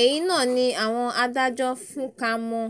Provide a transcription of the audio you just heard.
èyí náà ni àwọn adájọ́ fúnka mọ́